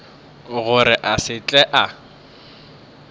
gore a se tle a